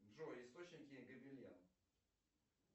джой источники габелен